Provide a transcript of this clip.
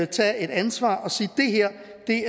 tage ansvar og sige